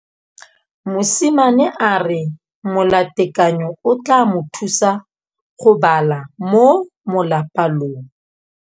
Mosimane a re molatekanyô o tla mo thusa go bala mo molapalong.